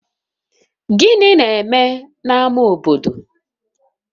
Gịnị na-eme na ama obodo?